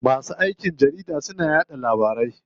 Masu aikin jarida suna yaɗa labaru.